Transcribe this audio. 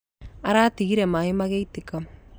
Aratigire maĩ magĩitĩka.